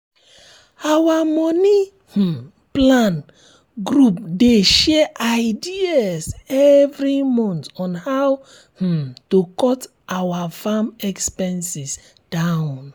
our money um plan group dey share ideas every month on how um to cut our farming expenses down